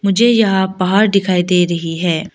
मुझे यहाँ पहाड़ दिखाई दे रही है।